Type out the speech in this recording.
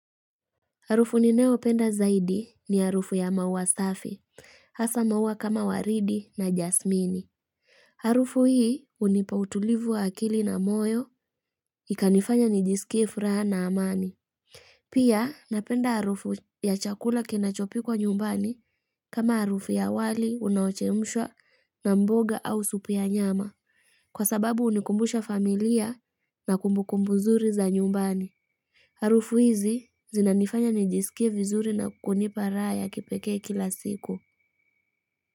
Harufu ninayo penda zaidi ni harufu ya maua safi, hasa maua kama waridi na jasmini. Harufu hii hunipa utulivu wa akili na moyo, ikanifanya nijisikie furaha na amani. Pia napenda harufu ya chakula kina chopikwa nyumbani kama harufu ya wali unaochemshwa na mboga au supu ya nyama, kwa sababu hunikumbusha familia na kumbukumbu nzuri za nyumbani. Harufu hizi zinanifanya nijisikie vizuri na kunipa raha ya kipekee kila siku.